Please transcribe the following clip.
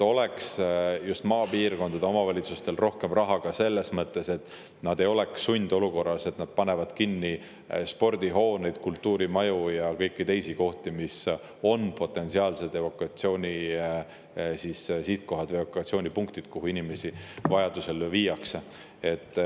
Just maapiirkondade omavalitsustel peaks olema rohkem raha ka selleks, et nad ei oleks sundolukorras, kus nad panevad kinni spordihooneid, kultuurimaju ja kõiki teisi kohti, mis on potentsiaalsed evakuatsioonipunktid, kuhu inimesi vajadusel viiakse.